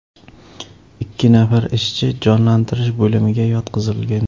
Ikki nafar ishchi jonlantirish bo‘limiga yotqizilgan.